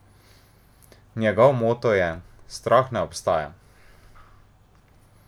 Njegov moto je: "Strah ne obstaja".